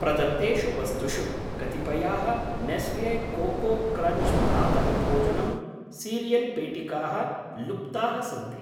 प्रदत्तेषु वस्तुषु कतिपयाः नेस्ले कोको क्रञ्च् प्रातः भोजनम् सीरियल् पेटिकाः लुप्ताः सन्ति।